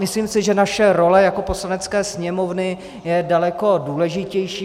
Myslím si, že naše role jako Poslanecké sněmovny je daleko důležitější.